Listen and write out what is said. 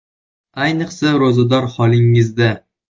Ayniqsa, ro‘zador holingizda.